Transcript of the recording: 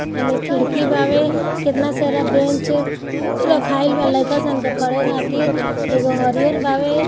ऐमे खिड़की बावे केतना सारा बेंच रखाईल बा लाइका सन के पढ़े खातिर एगो हरिहर बावे।